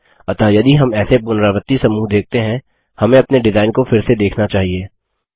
अतः यदि हम ऐसे पुनरावृत्ति समूह देखते हैं हमें अपने डिजाइन को फिर से देखना चाहिए